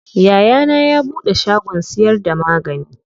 Yayana ya buɗe shagon siyar da magani.